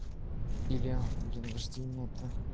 илья блин вождение это